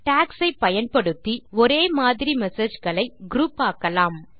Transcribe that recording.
tax ஐ பயன்படுத்தி ஒரே மாதிரி messageகளை குரூப் ஆக்கலாம்